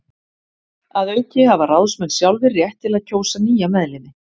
Að auki hafa ráðsmenn sjálfir rétt til að kjósa nýja meðlimi.